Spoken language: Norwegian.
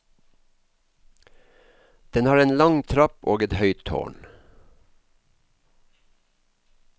Den har en lang trapp og et høyt tårn.